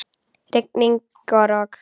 Rigning og rok.